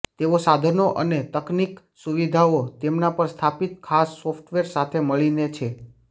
તેઓ સાધનો અને તકનીકી સુવિધાઓ તેમના પર સ્થાપિત ખાસ સોફ્ટવેર સાથે મળીને છે